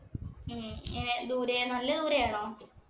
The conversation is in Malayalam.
ഉം ദൂരെ നല്ല ദൂരെയാണോ?